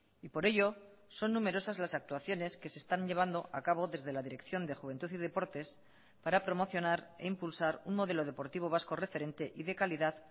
y por ello son numerosas las actuaciones que se están llevando a cabo desde la dirección de juventud y deportes para promocionar e impulsar un modelo deportivo vasco referente y de calidad